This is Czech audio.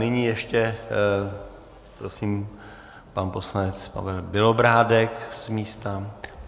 Nyní ještě prosím - pan poslanec Pavel Bělobrádek z místa.